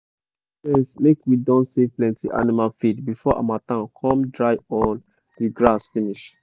e go make sense make we don save plenty animal feed before harmattan come dry all d grass finish.